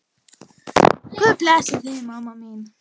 Guð blessi þig, mamma mín.